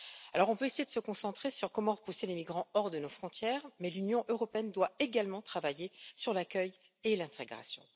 Alors, on peut essayer de se concentrer sur la manière de repousser les migrants hors de nos frontières, mais l'Union européenne doit également travailler sur l'accueil et l'intégration.